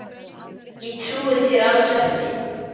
Ég trúi þér alls ekki!